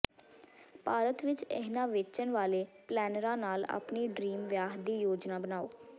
ਭਾਰਤ ਵਿਚ ਇਨ੍ਹਾਂ ਵੇਚਣ ਵਾਲੇ ਪਲੈਨਰਾਂ ਨਾਲ ਆਪਣੀ ਡਰੀਮ ਵਿਆਹ ਦੀ ਯੋਜਨਾ ਬਣਾਓ